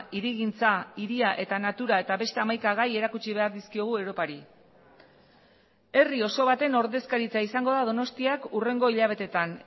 hirigintza hiria eta natura eta beste hamaika gai erakutsi behar dizkiogu europari herri oso baten ordezkaritza izango da donostiak hurrengo hilabetetan